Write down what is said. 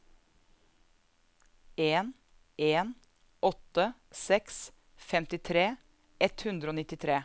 en en åtte seks femtitre ett hundre og nittitre